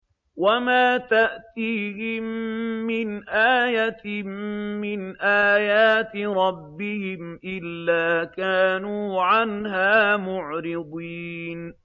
وَمَا تَأْتِيهِم مِّنْ آيَةٍ مِّنْ آيَاتِ رَبِّهِمْ إِلَّا كَانُوا عَنْهَا مُعْرِضِينَ